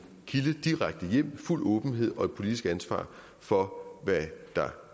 linje direkte hjem med fuld åbenhed og et politisk ansvar for hvad der